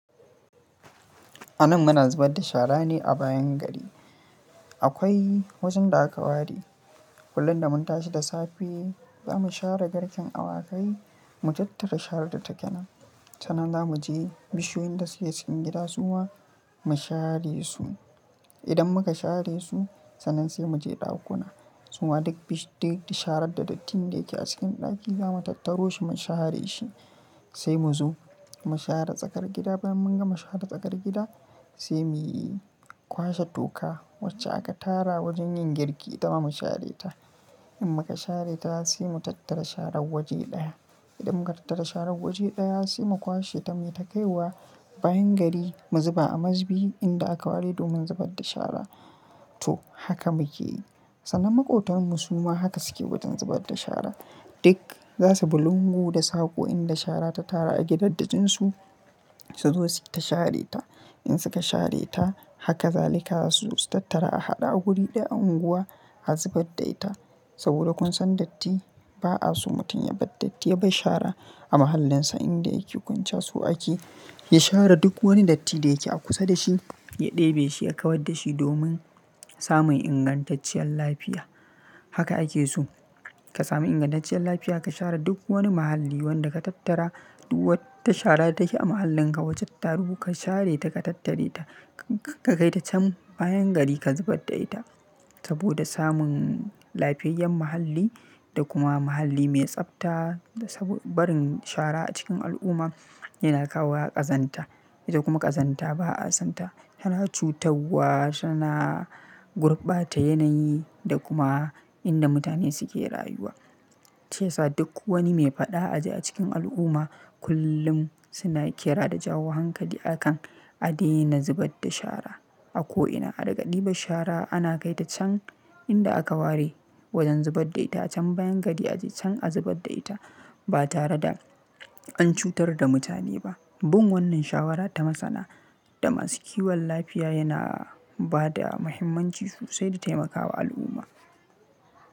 Anan muna zubar da shara ne a bayan gari. Akwai wajen da aka ware. Kullum da mun tashi da safe, za mu share garkin awakai, mu tattara sharar da ta ƙena. Sannan za mu je bishiyoyin da suke cikin gida suma mu share su. Idan muka share su sannan sai mu je ɗakuna. Suma duk sharar da dattine da yake a cikin ɗaki za mu tattaro shi mu share shi. Sai mu zo mu share tsakar gida. Bayan mun gama share tsakar gida, sai mu kwashe toka wacce aka tara wajen yin girki itama mu share ta. In muka share ta sai mu tattara sharar waje ɗaya. Idan muka tattara sharar waje ɗaya sai mu kwashe ta muyi ta kai wa bayan gari mu zuba a masbi inda aka ware domin zubar da shara, to haka muke yi. Sannan maƙwabtan mu suma haka suke wajen zubar da shara. Duk za su bi lungu da sako inda shara ta tara a gidaddakin su, su zo suke ta share ta. In suka share ta haka zalika za su tattara a haɗa a wuri ɗaya a unguwa a zubar da ita. Saboda kun san datti ba a so mutum ya bar datti ya bar shara a mahallinsa inda yake kwanciya so ake. Ya share duk wani datti da yake a kusa da shi, ya ɗebe shi ya kawar da shi domin samun ingantacciyar lafiya. Haka ake so, ka sami ingantacciyar lafiya, ka share duk wani mahalli wanda ka tattara duk wata shara da take a mahallinka wajen ka taro ka share ta ka tattare ta. Ka kai ta can bayan gari ka zubar da ita, saboda samun lafiyayyen mahalli da kuma mahalli mai tsabta. Saboda barin shara a cikin al'umma yana kawo ƙazanta. Ita kuma ƙazanta ba a son ta. Tana cutarwa, tana gurbata yanayi da kuma inda mutane suke rayuwa. Ta yasa duk wani mai faɗa a ji a cikin al'umma, kullum suna ƙira da jawo hankali akan adena zubar da shara a ko'ina. A riga ɗi ban shara ana kai ta can inda aka ware wajen zubar da ita can bayan gari a je can a zubar da ita, ba tare da an cutar da mutane ba. Bin wannan shawara ta masana, da masu kiwon lafiya yana ba da muhimmanci sosai da taimakawa al'umma.